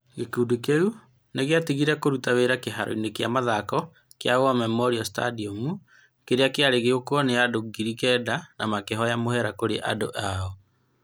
Gĩkundi kĩu nĩ gĩatigire kũruta wĩra kĩharo-inĩ kĩa mathako kĩa War Memorial Stadium, kĩrĩa kĩarĩ gĩũkwo nĩ andũ ngiri kenda, na makĩhoya mũhera kũrĩ eendi ao.